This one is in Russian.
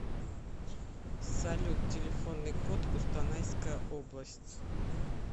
салют телефонный код кустанайская область